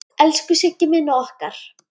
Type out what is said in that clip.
Elsku Siggi minn og okkar.